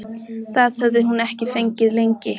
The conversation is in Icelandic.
Það hafði hún ekki fengið lengi.